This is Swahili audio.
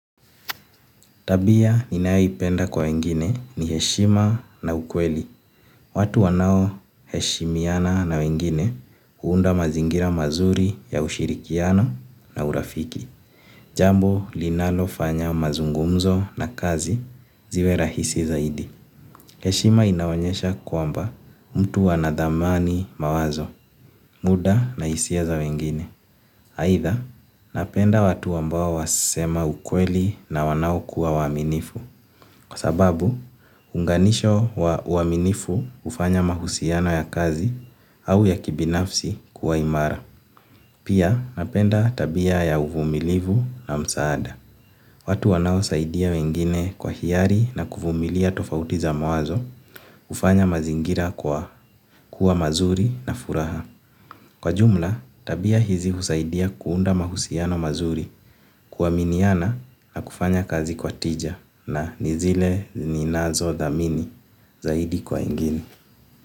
Tabia ninayoipenda kwa wengine, ni heshima na ukweli. Watu wanao heshimiana na wengine, huunda mazingira mazuri ya ushirikiano na urafiki. Jambo linalo fanya mazungumzo na kazi, ziwe rahisi zaidi. Heshima inaonyesha kwamba, mtu anadhamani mawazo, muda na hisia za wengine. Aitha, napenda watu ambao wasema ukweli na wanao kuwa waminifu. Kwa sababu, hunganisho wa uaminifu, hufanya mahusiano ya kazi au ya kibinafsi, kuwa imara. Pia, napenda tabia ya uvumilivu na msaada. Watu wanao saidia wengine kwa hiari na kuvumilia tofauti za mawazo hufanya mazingira kwa, kuwa mazuri na furaha. Kwa jumla, tabia hizi husaidia kuunda mahusiano mazuri, kuaminiana na kufanya kazi kwa tija, na ni zile ninazothamini zaidi kwa ingine.